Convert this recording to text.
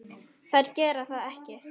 Þær gera það ekki.